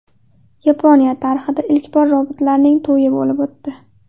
Yaponiyada tarixda ilk bor robotlarning to‘yi bo‘lib o‘tdi.